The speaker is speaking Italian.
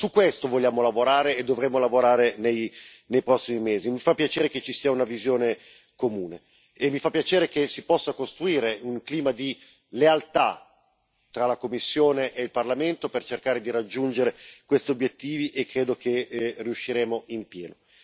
Su questo vogliamo e dovremo lavorare nei prossimi mesi. Mi fa piacere che ci sia una visione comune e mi fa piacere che si possa costruire un clima di lealtà tra la Commissione e il Parlamento per cercare di raggiungere questi obiettivi, e credo che riusciremo in pieno.